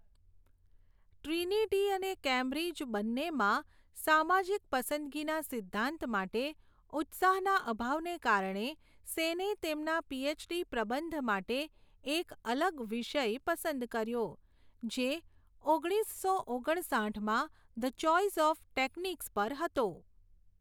Trinity અને Cambridge બંનેમાં સામાજિક પસંદગીના સિદ્ધાંત માટે ઉત્સાહના અભાવને કારણે, સેને તેમના પીએચડી પ્રબંધ માટે એક અલગ વિષય પસંદ કર્યો, જે ઓગણીસો ઓગણ સાઠમાં ધ ચોઇસ ઓફ ટેકનિક્સ પર હતો.